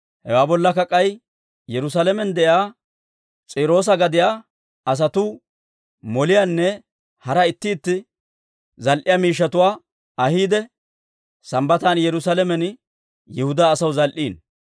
Hewaa bollakka k'ay Yerusaalamen de'iyaa S'iiroosa gadiyaa asatuu moliyaanne hara itti itti zal"e miishshatuwaa ahiide, Sambbatan Yerusaalamen Yihudaa asaw zal"iino.